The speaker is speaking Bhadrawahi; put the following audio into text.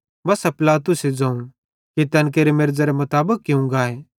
बस्सा पिलातुसे ज़ोवं कि तैन केरे मेरज़रे मुताबिक कियूं गाए